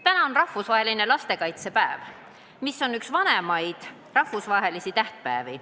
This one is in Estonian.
Täna on rahvusvaheline lastekaitsepäev, mis on üks vanimaid rahvusvahelisi tähtpäevi.